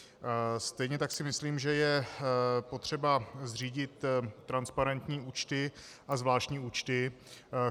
Stejně tak si myslím, že je potřeba zřídit transparentní účty a zvláštní účty.